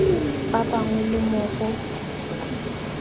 ba bangwe le mo go